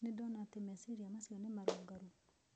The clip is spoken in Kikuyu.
Nĩ ndona atĩ meciria macio nĩ marũngarũ